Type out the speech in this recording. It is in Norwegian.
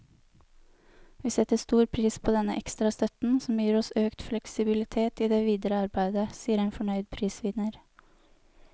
Vi setter stor pris på denne ekstra støtten, som gir oss økt fleksibilitet i det videre arbeidet, sier en fornøyd prisvinner.